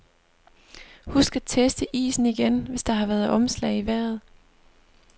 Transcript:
Husk at teste isen igen, hvis der har været omslag i vejret.